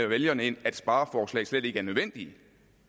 vælgerne ind at spareforslag slet ikke er nødvendige